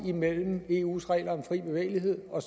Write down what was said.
er mellem eus regler om fri bevægelighed og